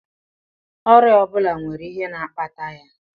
Ọrịa ọ bụla nwere ihe na-akpata ya